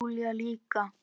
Og Júlía líka.